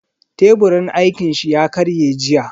Teburin aikin shi ya karye jiya.